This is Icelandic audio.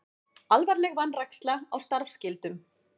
Alvarleg vanræksla á starfsskyldum